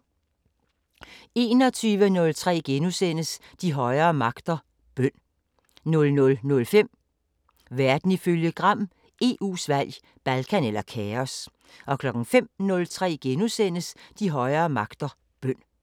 21:03: De højere magter: Bøn * 00:05: Verden ifølge Gram: EU's valg – Balkan eller kaos! 05:03: De højere magter: Bøn *